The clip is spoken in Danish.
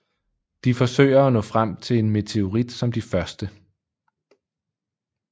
De forsøger at nå frem til en meteorit som de første